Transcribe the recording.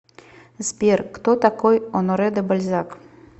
сбер кто такой оноре де бальзак